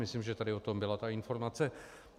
Myslím, že tady o tom byla ta informace.